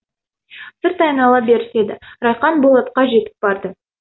сырт айнала беріседі райқан болатқа жетіп барды